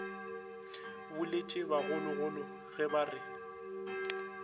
boletše bagologolo ge ba re